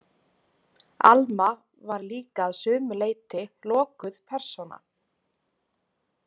Alma var líka að sumu leyti lokuð persóna.